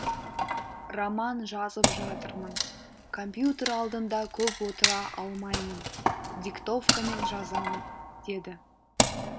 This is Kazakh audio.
роман жазып жатырмын компьютер алдында көп отыра алмаймын диктовкамен жазамын деді